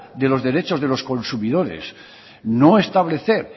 de los derechos de los consumidores no establecer